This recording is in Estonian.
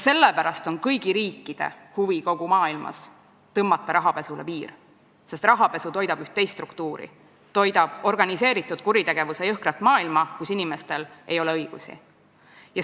Sellepärast on kõigi riikide huvi kogu maailmas panna rahapesule piir, sest rahapesu toidab üht teist struktuuri: organiseeritud kuritegevuse jõhkrat maailma, kus inimestel ei ole õigusi.